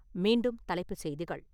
மீண்டும் தலைப்பு செய்திகள்